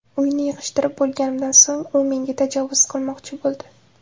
Uyni yig‘ishtirib bo‘lganimdan so‘ng, u menga tajovuz qilmoqchi bo‘ldi.